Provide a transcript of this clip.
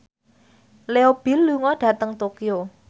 Leo Bill lunga dhateng Tokyo